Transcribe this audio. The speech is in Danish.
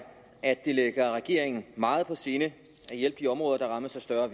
at det ligger regeringen meget på sinde at hjælpe de områder der rammes af større